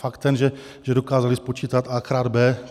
Faktem je, že dokázali spočítat a krát b.